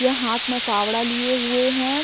या हाथ में फावड़ा लिए हुए हैं।